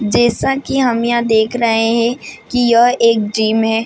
जैसा की हम यहाँ देख रहे है की यह एक जिम है ।